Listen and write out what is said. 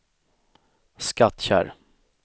Skattkärr